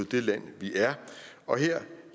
det land vi er og her